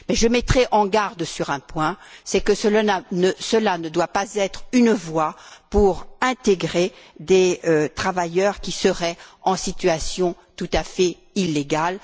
Je mettrai en garde sur un point, c'est que cela ne doit pas être une voie pour intégrer des travailleurs qui seraient en situation tout à fait illégale.